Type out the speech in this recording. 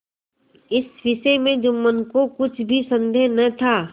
इस विषय में जुम्मन को कुछ भी संदेह न था